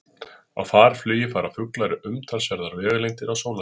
Á farflugi fara fuglar umtalsverðar vegalengdir á sólarhring.